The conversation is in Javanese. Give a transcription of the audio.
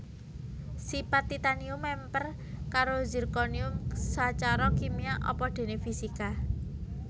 Sipat Titanium mèmper karo zirconium sacara kimia apa déné fisika